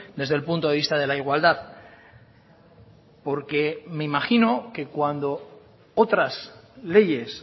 desde el punto de vista de la igualdad porque me imagino que cuando otras leyes